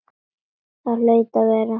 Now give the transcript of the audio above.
Það hlaut að vera.